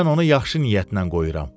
Mən onu yaxşı niyyətlə qoyuram.